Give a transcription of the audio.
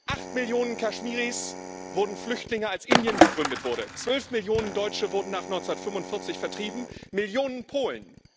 Acht Millionen Kaschmiris wurden Flüchtlinge, als Indien gegründet wurde, 12 Millionen Deutsche wurden nach 1945 vertrieben, Millionen Polen.